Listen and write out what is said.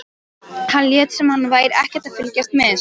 Hann lét sem hann væri ekkert að fylgjast með þessu.